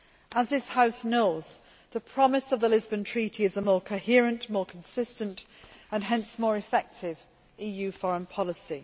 As this House knows, the promise of the Lisbon Treaty is a more coherent, more consistent and hence more effective EU foreign policy.